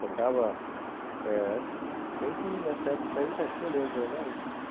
Tocava...eh... Se bem que nessa época aí... É, tinha Leandro e Leonardo?